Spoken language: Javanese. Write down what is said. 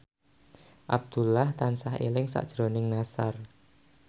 Abdullah tansah eling sakjroning Nassar